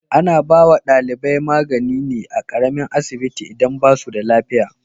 Ana ba wa dalibai magani ne a karamin asibiti idan ba su da lafiya.